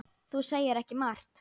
Þú segir ekki margt.